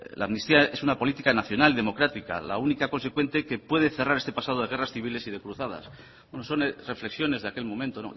la amnistía es una política nacional democrática la única consecuente que puede cerrar este pasado de guerras civiles y de cruzadas no son reflexiones de aquel momento